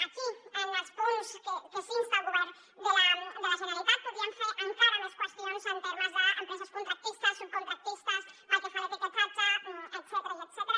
aquí en els punts en què s’insta el govern de la generalitat podríem fer encara més qüestions en termes d’empreses contractistes subcontractistes pel que fa a l’etiquetatge etcètera